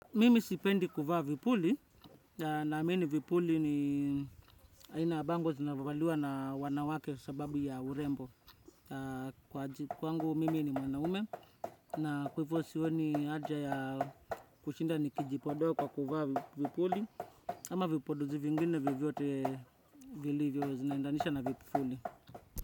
Mimi sipendi kuvaa vipuli, na amini vipuli ni aina ya bango zinavaliwa na wanawake sababu ya urembo. Kwangu mimi ni mwanaume na kwa hivyo sioni haja ya kushinda nikijipodoa kwa kuvaa vipuli. Ama vipodozi vingine vyovote vilivyo zinaendanisha na vipuli.